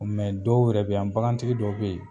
dɔw yɛrɛ be yan, bakantigi dɔw be yen